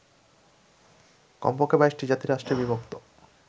কমপক্ষে ২২টি জাতিরাষ্ট্রে বিভক্ত